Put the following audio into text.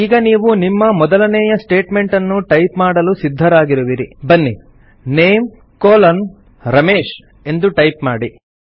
ಈಗ ನೀವು ನಿಮ್ಮ ಮೊದಲನೇಯ ಸ್ಟೇಟ್ಮೆಂಟನ್ನು ಟೈಪ್ ಮಾಡಲು ಸಿದ್ಧರಾಗಿರುವಿರಿ ಬನ್ನಿ NAME ರಮೇಶ್ ಎಂದು ಟೈಪ್ ಮಾಡಿ